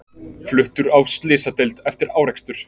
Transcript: Fluttur á slysadeild eftir árekstur